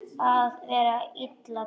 Að vera illa brugðið